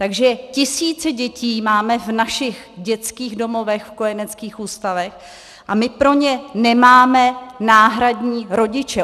Takže tisíce dětí máme v našich dětských domovech, v kojeneckých ústavech a my pro ně nemáme náhradní rodiče.